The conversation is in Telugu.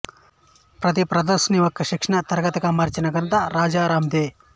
ప్రతి ప్రదర్శనని ఒక శిక్షణ తరగతిగా మార్చిన ఘనత రాజారాందే